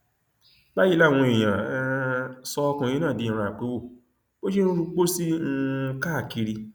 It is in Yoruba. báyìí làwọn èèyàn um sọ ọkùnrin náà di ìran àpéwò bó ṣe ń ru pósí um káàkiri